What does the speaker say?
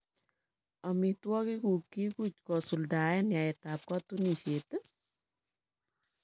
"Omitwogikuk kikuch kosuldaen yaetab kotunisiet iih?